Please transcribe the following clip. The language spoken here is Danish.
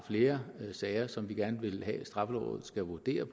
flere sager som vi gerne vil have straffelovrådet skal vurdere